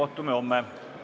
Istungi lõpp kell 12.04.